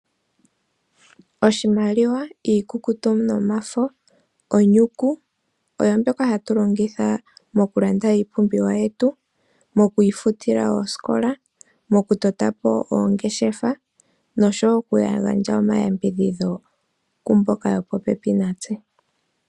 Oshimaliwa iikukutu nomafo, onyuku oyo mbyoka hatu longitha moku landa iipumbiwa yetu, moku ifutila oosikola, moku tota po oongeshefa nosho wo oku gandja omayambidhidho kwaamboka yo popepi natse.